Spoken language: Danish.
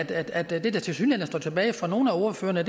af at det der tilsyneladende står tilbage efter nogle af ordførerne